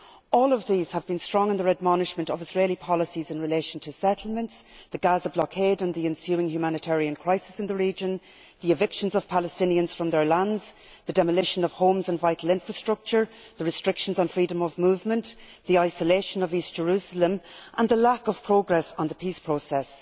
All of these have been strong in their admonishment of Israeli policies in relation to settlements, the Gaza blockade and the ensuing humanitarian crisis in the region, the evictions of Palestinians from their lands, the demolition of homes and vital infrastructure, the restrictions on freedom of movement, the isolation of East Jerusalem and the lack of progress on the peace process.